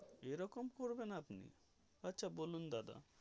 এই রকম করবেন আপনি আচ্ছা বলুন দাদা.